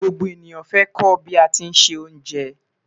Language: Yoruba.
Gbogbo eniyan fẹ ko lati bi se onje